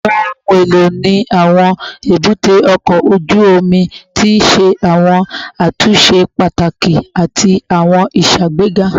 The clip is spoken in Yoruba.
Awọn ohun elo ni awọn ebute oko oju omi ti ṣe awọn atunṣe pataki ati awọn iṣagbega